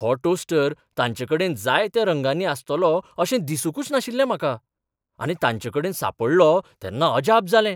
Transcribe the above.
हो टोस्टर तांचेकडेन जायत्या रंगांनी आसतलो अशें दिसूंकच नाशिल्लें म्हाका आनी तांचेकडेन सांपडलो तेन्ना अजाप जालें.